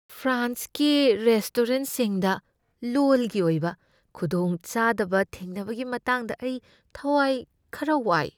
ꯐ꯭ꯔꯥꯟꯁꯀꯤ ꯔꯦꯁꯇꯣꯔꯦꯟꯠꯁꯤꯡꯗ ꯂꯣꯜꯒꯤ ꯑꯣꯏꯕ ꯈꯨꯗꯣꯡꯆꯗꯕ ꯊꯦꯡꯅꯕꯒꯤ ꯃꯇꯥꯡꯗ ꯑꯩ ꯊꯋꯥꯏ ꯈꯔ ꯋꯥꯏ ꯫